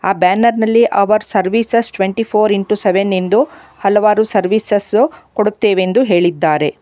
ಆ ಬ್ಯಾನರ್ ನಲ್ಲಿ our services twenty four into seven ಎಂದು ಹಲವಾರು ಸರ್ವಿಸಸ್ ಕೊಡುತ್ತೆವೆಂದು ಹೇಳಿದ್ದಾರೆ.